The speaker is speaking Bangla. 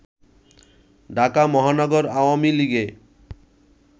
ঢাকা মহানগর আওয়ামী লীগে